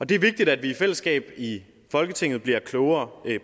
det er vigtigt at vi i fællesskab i folketinget bliver klogere